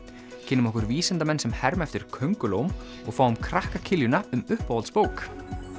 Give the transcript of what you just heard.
kynnum okkur vísindamenn sem herma eftir köngulóm og fáum krakka um uppáhaldsbók